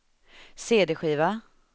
cd-skiva